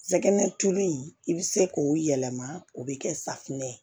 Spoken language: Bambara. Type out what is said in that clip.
Jɛgɛ tulu i bɛ se k'o yɛlɛma o bɛ kɛ safunɛ ye